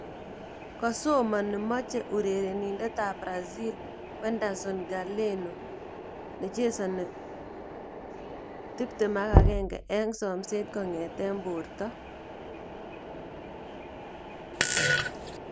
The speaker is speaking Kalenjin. (Huddersfield Examiner) Kosomani meche urerenindet ab Brazil Wenderson Galeno, 21, eng somset kongete Porto.